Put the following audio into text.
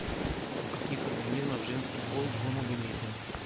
у каких организмов женский пол гомогаметен